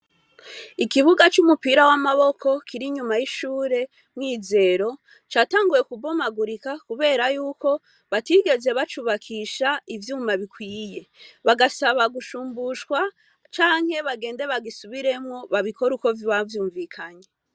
Ikibuga c'umupira w'amaboko kiri nyuma y'ishure mwizero catanguye kubomagurika, kubera yuko batigeze bacubakisha ivyuma bikwiye bagasaba gushumbushwa canke bagende bagisubiremwo babikore uko vibavyumvikanye.